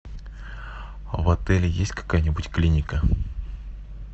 в отеле есть какая нибудь клиника